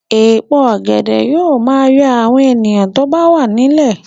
Èpo ọ̀gẹ̀dẹ̀ yóò máa yọ àwọn èèyàn bó bá wà nílẹ̀